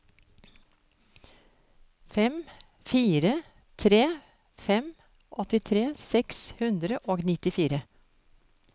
fem fire tre fem åttitre seks hundre og nittifire